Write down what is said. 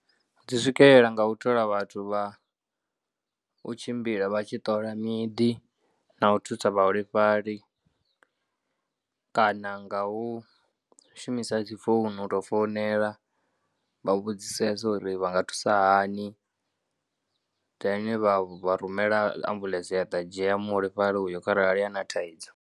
Dzi swikelela nga u thola vhathu vha u tshimbila vha tshi ṱola miḓi na u thusa vhaholefhali kana nga u shumisa dzi founu u tou founela vha u vhudzisesa uri vha nga thusa hani, then vha rumela ambulance ya ḓa dzhia muholefhali uyo kharali a na thaidzo.